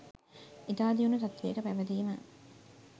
ඉතා දියුණු තත්ත්වයක පැවතීම